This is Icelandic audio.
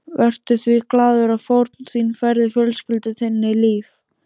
Vertu því glaður að fórn þín færði fjölskyldu þinni líf.